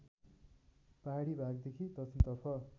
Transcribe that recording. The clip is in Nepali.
पहाडी भागदेखि दक्षिणतर्फ